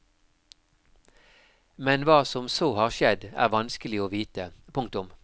Men hva som så har skjedd er vanskelig å vite. punktum